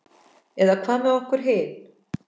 En hvað með okkur hin?